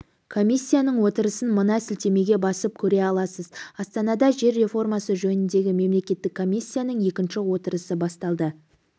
комиссияның отырысын мына сілтемеге басып көре аласыз астанада жер реформасы жөніндегі мемлекеттік комиссияның екінші отырысы басталды